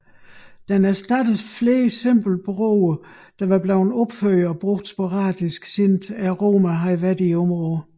Den erstattede flere simple broer der var blevet opført og brugt sporadisk siden romerne havde været i området